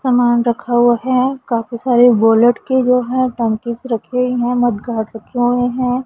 सामान रखा हुआ है काफी सारे वॉलेट की जो है टंकीस रखी है हुई हैं मडगाड रखे हुए हैं।